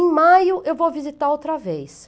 Em maio eu vou visitar outra vez.